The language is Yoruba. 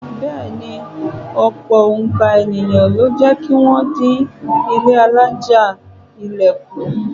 Bẹ́ẹ̀ ni, ọ̀pọ̀ òǹkà ènìyàn ló jẹ́ kí wọ́n dín ilé alájà-ilẹ̀ kù.